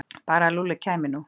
Bara að Lúlli kæmi nú.